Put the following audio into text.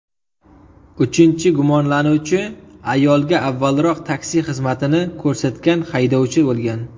Uchinchi gumonlanuvchi ayolga avvalroq taksi xizmatini ko‘rsatgan haydovchi bo‘lgan.